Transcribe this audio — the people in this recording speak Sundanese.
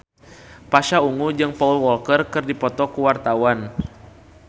Pasha Ungu jeung Paul Walker keur dipoto ku wartawan